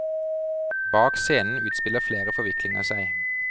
Bak scenen utspiller flere forviklinger seg.